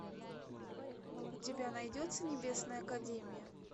у тебя найдется небесная академия